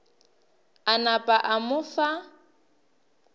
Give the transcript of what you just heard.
a napa a mo fa